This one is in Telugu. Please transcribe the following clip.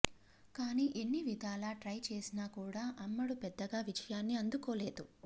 కానీ ఎన్ని విధాలా ట్రై చేసినా కూడా అమ్మడు పెద్దగా విజయాన్ని అందుకోలేదు